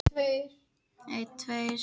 Heilsugæslan til sveitarfélaganna